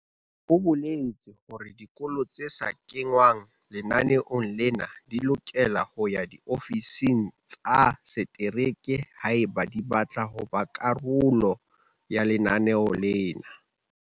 O boletse hore dikolo tse sa kengwang lenaneong lena di lokela ho ya diofising tsa setereke haeba di batla ho ba karolo ya lenaneo lena.